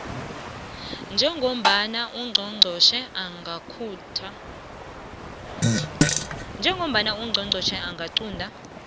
njengombana ungqongqotjhe angaqunta